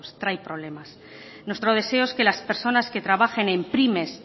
trae problemas nuestro deseo es que las personas que trabajen en pymes